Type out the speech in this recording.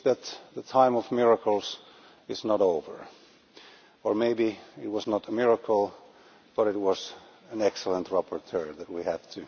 It seems that the time of miracles is not over. Or maybe it was not a miracle, but an excellent rapporteur that we had.